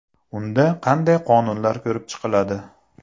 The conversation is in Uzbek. Unda qanday qonunlar ko‘rib chiqiladi?.